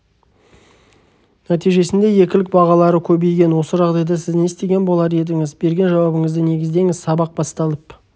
нәтижесінде екілік бағалары көбейген осы жағдайда сіз не істеген болар едіңіз берген жауабыңызды негіздеңіз сабақ басталып